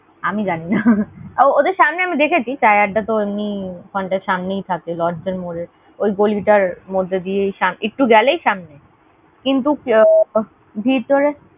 আমি জানি না ও ওদের সামনে আমি দেখেছি। Chai Adda তো এমনি ওখানটায় সামনেই থাকে। lords এর মোড়ে। ওই গলি টার মধ্যে দিয়েই সা একটু গেলেই সামনে, কিন্তু ভিতরে